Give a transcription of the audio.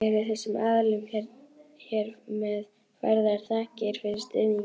Eru þessum aðilum hér með færðar þakkir fyrir stuðninginn.